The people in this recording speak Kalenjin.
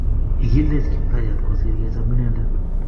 Igiilech Kiptayat kosir kecham inendet